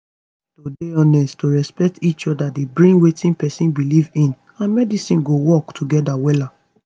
to dey honest to respect each oda dey bring wetin pesin belief in and medicine to work together wellla